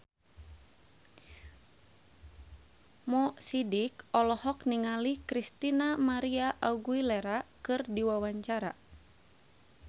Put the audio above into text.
Mo Sidik olohok ningali Christina María Aguilera keur diwawancara